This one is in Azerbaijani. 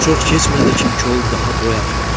Çox keçmədi ki, kol daha boy atmadı.